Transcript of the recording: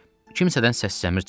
Kimsədən səs-səmir çıxmırdı.